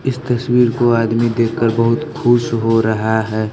इस तस्वीर को आदमी देख कर बहुत खुश हो रहा है।